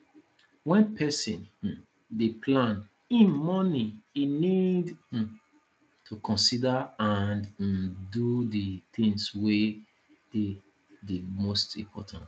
when person um dey plan im morning e need um to consider and um do di things wey dey di most important